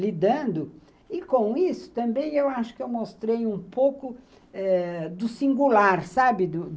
lidando, e com isso também eu acho que eu mostrei um pouco eh do singular, sabe?